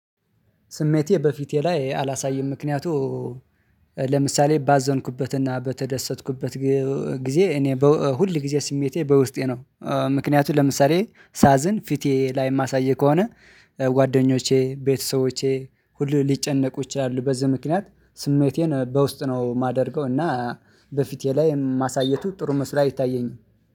ስሜቴ በፊቴ ላይ አላሳይም ምክንያቱ ስሜቴ በፊቴ ላይ አላሳይም። ምክንያቱ ምክንያቱም ለምሳሌ ሳዝን ፊቴ ላይ የማሳይ ከሆነ ጓደኞቼ ቤተሰቦቼ ሁሉ ሊጨነቁ ይችላሉ። በዚህ ምክንያት ስሜቴን በውስጥ ነው የማደርገው። እና በፊቴ ላይ ማሳየቱ ጥሩ መስራት አይታየኝም